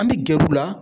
An bɛ gɛrɛ u la